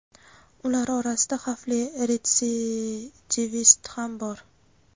ular orasida xavfli retsidivist ham bor.